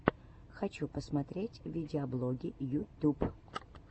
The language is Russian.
хочу посмотреть видеоблоги ютюб